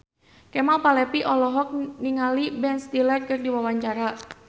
Kemal Palevi olohok ningali Ben Stiller keur diwawancara